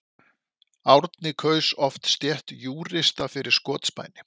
Árni kaus oft stétt júrista fyrir skotspæni.